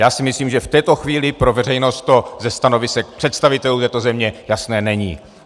Já si myslím, že v této chvíli pro veřejnost to ze stanovisek představitelů této země jasné není.